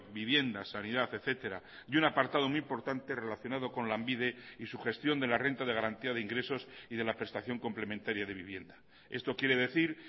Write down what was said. vivienda sanidad etcétera y un apartado muy importante relacionado con lanbide y su gestión de la renta de garantía de ingresos y de la prestación complementaria de vivienda esto quiere decir